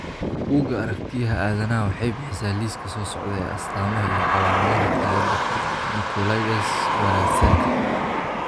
Buugga Aragtiyaha Aadanaha waxay bixisaa liiska soo socda ee astamaha iyo calaamadaha cilada Nicolaides Baraitserka.